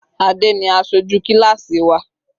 Adé ni aṣojú kíláásì wa.